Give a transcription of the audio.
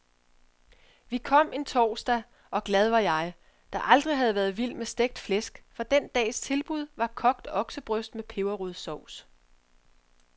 Vi kom en torsdag, og glad var jeg, der aldrig har været vild med stegt flæsk, for den dags tilbud var kogt oksebryst med peberrodssovs.